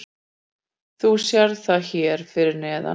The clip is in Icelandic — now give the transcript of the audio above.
Þú sérð það hér fyrir neðan.